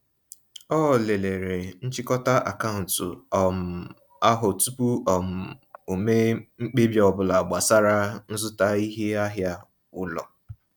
Ọ lelere nchịkọta akaụntụ um ahụ tụpụ um o mee mkpebi ọbụla gbasara nzụta iheahịa ụlọ.